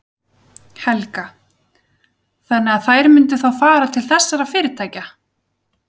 Helga: Þannig að þær myndu þá fara til þessara fyrirtækja?